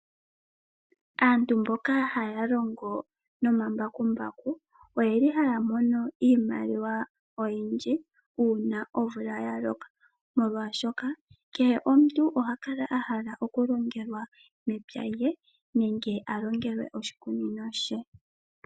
Aantu mboka haya longo nomambakumbaku oye li haya mono iimaliwa oyindji uuna omvula ya loka molwashoka kehe omuntu oha kala a hala okulongelwa mepya lye nenge a longelwe oshikunino she.